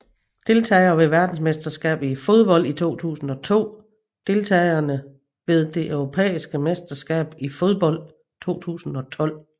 Deltagere ved verdensmesterskabet i fodbold 2002 Deltagere ved det europæiske mesterskab i fodbold 2012